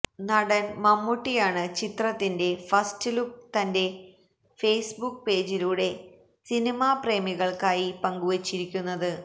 നടന് മമ്മൂട്ടിയാണ് ചിത്രത്തിന്റെ ഫസ്റ്റ്ലുക്ക് തന്റെ ഫേസ്ബുക്ക് പേജിലൂടെ സിനിമാ പ്രേമികള്ക്കായി പങ്കുവെച്ചിരിക്കുന്നത്